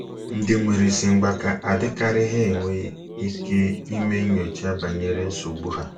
Ndị nwere isi mgbaka adịkarịghị enwe ike ime nnyocha banyere nsogbu ha.